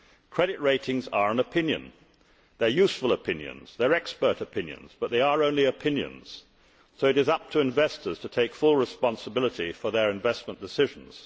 Credit ratings are an opinion they are useful opinions, they are expert opinions, but they are only opinions, so it is up to investors to take full responsibility for their investment decisions.